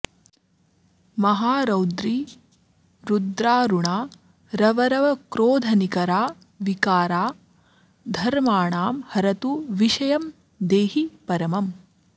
महारौद्री रुद्रारुणारवरवक्रोधनिकरा विकारा धर्माणां हरतु विषयं देहि परमम्